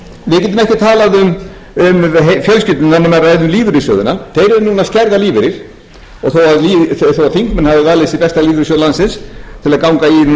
við getum ekkert talað um fjölskyldurnar nema að ræða um lífeyrissjóðina þeir eru núna að skerða lífeyri og þó þingmenn hafi valið sér besta lífeyrissjóð landsins til að ganga í núna